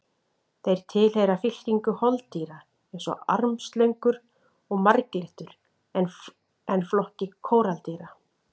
Þeir tilheyra fylkingu holdýra eins og armslöngur og marglyttur en flokki kóraldýra.